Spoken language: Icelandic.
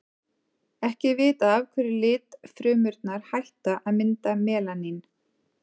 ekki er vitað af hverju litfrumurnar hætta að mynda melanín